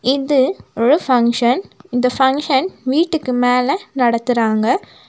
இது ஒரு பங்க்ஷன் . இந்த பங்க்ஷன் வீட்டுக்கு மேல நடத்துறாங்க.